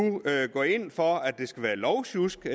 går ind for lovsjusk